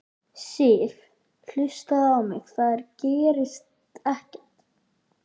Sif. hlustaðu á mig. það gerist ekkert!